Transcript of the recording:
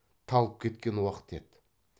талып кеткен уақты еді